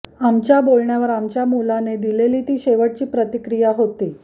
आमच्या बोलण्यावर आमच्या मुलाने दिलेली ती शेवटची प्रतिक्रिया होती